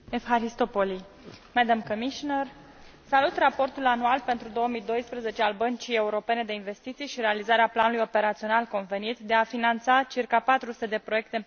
Doamnă președinte, salut raportul anual pentru 2012 al Băncii Europene de Investiții și realizarea planului operațional convenit, de a finanța circa 400 de proiecte în peste 60 de țări.